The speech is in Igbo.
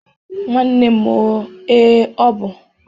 Nwanne m o, ee, ọ bụ